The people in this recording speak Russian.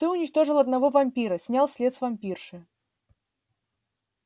ты уничтожила одного вампира снял след с вампирши